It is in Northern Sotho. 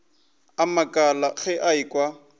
a makala ge a ekwa